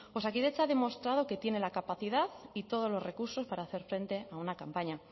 osakidetza ha demostrado que tiene la capacidad y todos los recursos para hacer frente a una campaña